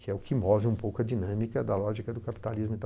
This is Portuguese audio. Que é o que move um pouco a dinâmica da lógica do capitalismo.